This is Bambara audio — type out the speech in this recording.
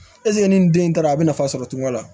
ni den taara a bɛ nafa sɔrɔ cogo la